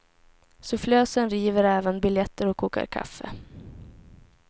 Sufflösen river även biljetter och kokar kaffe.